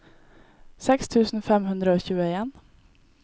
seks tusen fem hundre og tjueen